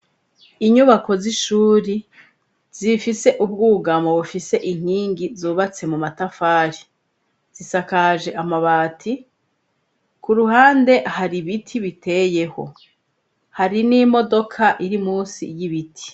Inyubako z'ishuri zifise ubwugamo bufise inkingi zubatse mu matafari zisakaje amabati, ku ruhande hari ibiti biteyeho hari n'imodoka iri munsi y'ibiti.